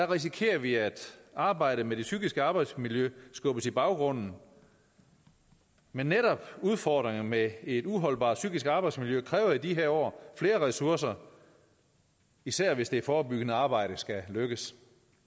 risikerer vi at arbejdet med det psykiske arbejdsmiljø skubbes i baggrunden men netop udfordringerne med et uholdbart psykisk arbejdsmiljø kræver i de her år flere ressourcer især hvis det forebyggende arbejde skal lykkes